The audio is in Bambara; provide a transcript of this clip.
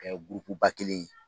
Ka kɛ gurupu ba kelen ye